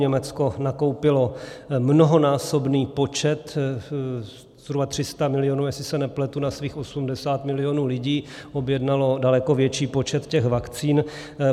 Německo nakoupilo mnohonásobný počet, zhruba 300 milionů, jestli se nepletu, na svých 80 milionů lidí, objednalo daleko větší počet těch vakcín.